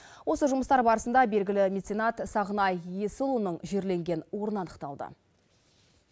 осы жұмыстар барысында белгілі меценат сағынай есіұлының жерленген орны анықталды